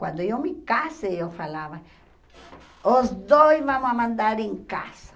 Quando eu me casei, eu falava, os dois vamos mandar em casa.